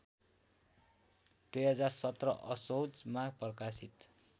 २०१७ असोजमा प्रकाशित